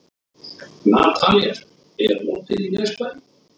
Nataníel, er opið í Nesbæ?